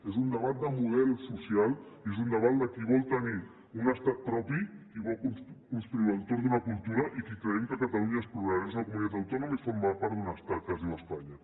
és un debat de model social és un debat de qui vol tenir un estat propi i vol construir lo entorn d’una cultura i qui creiem que catalunya és plural és una comunitat autònoma i forma part d’un estat que es diu espanya